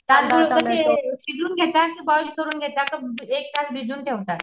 तांदूळ कशे शिजून घेता कि बोली करून घेता कि एक तास भिजून ठेवता.